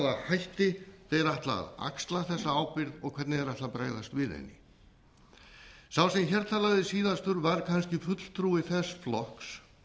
hætti þeir ætla að axla þessa ábyrgð og hvernig þeir ætla að bregðast við henni sá sem hér talaði síðastur var kannski fulltrúi þess flokks